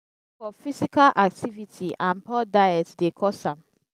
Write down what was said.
lack of physical activity and poor diet dey cause am.